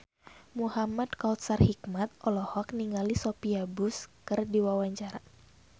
Muhamad Kautsar Hikmat olohok ningali Sophia Bush keur diwawancara